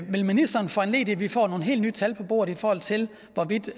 vil ministeren foranledige at vi får nogle helt nye tal på bordet i forhold til hvorvidt